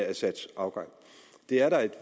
assads afgang er da at